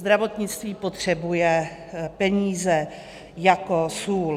Zdravotnictví potřebuje peníze jako sůl.